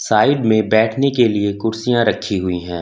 Side में बैठने के लिए कुर्सियां रखी हुई है।